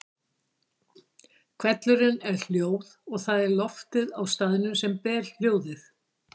Hvellurinn er hljóð og það er loftið á staðnum sem ber hljóð.